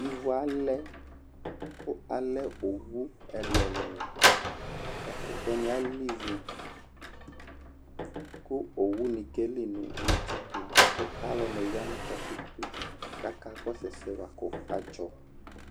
Ivu alɛ kʋ alɛ owu ɛlʋ-ɛlʋ Ɛkʋtɛnɩ alɛ ivu kʋ owunɩ keli nʋ katikpo kʋ alʋnɩ ya nʋ katikpo yɛ kʋ akakɔsʋ ɛsɛ yɛ bʋa kʋ adzɔ